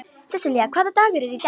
Sesselja, hvaða dagur er í dag?